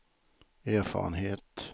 erfarenhet